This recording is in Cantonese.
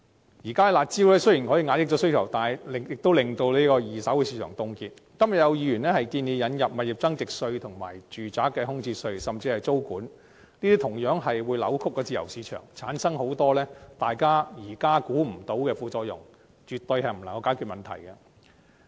現時採用的"辣招"能大大遏抑需求，令二手市場凍結；剛才更有議員建議引入物業增值稅、住宅空置稅，甚至是租務管制；但這些措施同樣會扭曲自由市場，產生很多現時大家無法估計的副作用，絕對無法解決問題。